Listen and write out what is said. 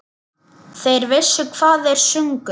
Þeir vissu hvað þeir sungu.